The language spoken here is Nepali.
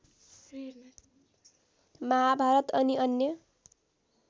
महाभारत अनि अन्य